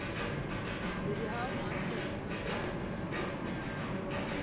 сериал мастер и маргарита